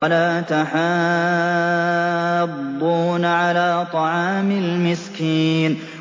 وَلَا تَحَاضُّونَ عَلَىٰ طَعَامِ الْمِسْكِينِ